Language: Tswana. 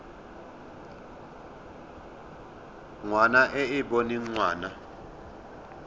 ngwana e e boneng ngwana